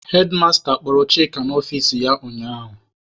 Hedmasta kpọrọ Chika n'ọfici ya ụnyaahụ.